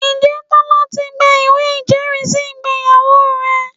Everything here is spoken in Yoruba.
Ǹjẹ́ Tọ́lá ti gba ìwé ìjẹ́rìísí ìgbéyàwó rẹ̀?